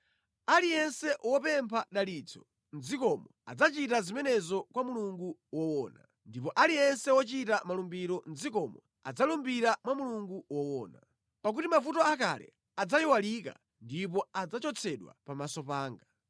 Aliyense wopempha dalitso mʼdzikomo adzachita zimenezo kwa Mulungu woona; ndipo aliyense wochita malumbiro mʼdzikomo adzalumbira mwa Mulungu woona. Pakuti mavuto akale adzayiwalika ndipo adzachotsedwa pamaso panga.